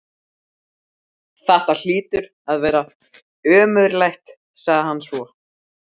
Þetta hlýtur að vera ömurlegt sagði hann svo.